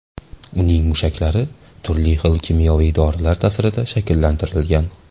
Uning mushaklari turli xil kimyoviy dorilar ta’sirida shakllantirilgan.